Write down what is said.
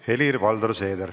Helir-Valdor Seeder.